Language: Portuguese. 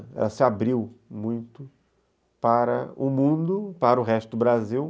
Ela se abriu muito para o mundo, para o resto do Brasil.